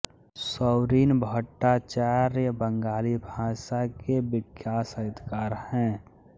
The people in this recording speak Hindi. सौरीन भट्टाचार्य बंगाली भाषा के विख्यात साहित्यकार हैं